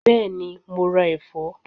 Bẹ́ẹ̀ni, mo ra ẹ̀fọ́?